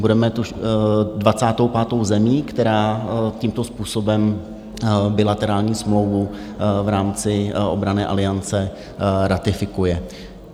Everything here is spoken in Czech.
Budeme 25. zemí, která tímto způsobem bilaterální smlouvu v rámci obranné aliance ratifikuje.